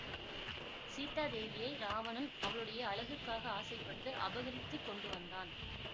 சீதாதேவியை இராவணன் அவளுடைய அழகுக்காக ஆசைப்பட்டு அபகரித்து கொண்டு வந்தான்